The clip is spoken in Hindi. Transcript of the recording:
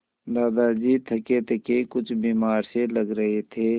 दादाजी थकेथके कुछ बीमार से लग रहे थे